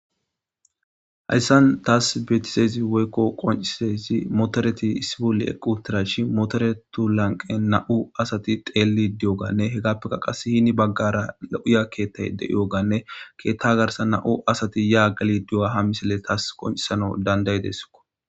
Hayssan taas beetisezi woykko qoncisezi motoreti issi bolle equ tirashi motoretu lanqe na'u asati teelli diyoganne hegappekka qas hini baggara lo'uya keettay de'iyoganne keetta garsa na'u asati ya gali duy'a ha misele taas qoncisano dandayideso.